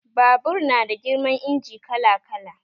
Babur na da girman injin kala kala